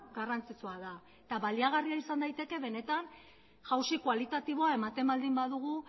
garrantzitsua da eta baliagarria izan daiteke benetan jauzi kualitatiboa ematen baldin badugu